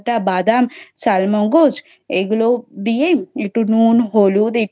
বাদামি, চাল মগজ এইগুলো দিয়ে একটু হলুদ নুন, একটু